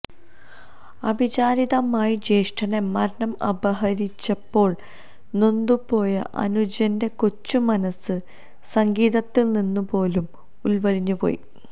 അവിചാരിതമായി ജ്യേഷ്ഠനെ മരണം അപഹരിച്ചപ്പോൾ നൊന്തുപോയ അനുജന്റെ കൊച്ചുമനസ്സ് സംഗീതത്തിൽനിന്നുപോലും ഉൾവലിഞ്ഞുപോയി